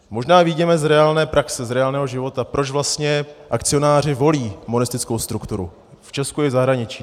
Možná vyjděme z reálné praxe, z reálného života, proč vlastně akcionáři volí monistickou strukturu v Česku i v zahraničí.